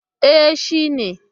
E, shi ne.